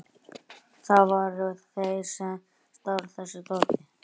Það voru þeir sem stálu þessu dóti.